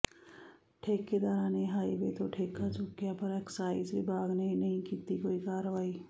ਠੇਕੇਦਾਰਾਂ ਨੇ ਹਾਈਵੇ ਤੋਂ ਠੇਕਾ ਚੁੱਕਿਆ ਪਰ ਐਕਸਾਈਜ਼ ਵਿਭਾਗ ਨੇ ਨਹੀਂ ਕੀਤੀ ਕੋਈ ਕਾਰਵਾਈ